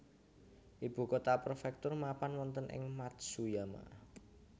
Ibu kota prefektur mapan wonten ing Matsuyama